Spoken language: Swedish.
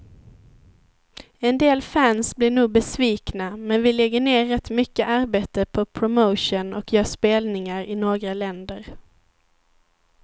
En del fans blir nog besvikna, men vi lägger ner rätt mycket arbete på promotion och gör spelningar i några länder.